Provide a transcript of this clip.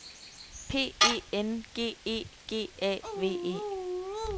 P E N G E G A V E